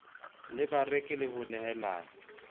le bareki le ho nehela